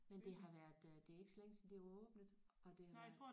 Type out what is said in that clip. Men det har været øh det er ikke så længe siden det var åbnet og det har været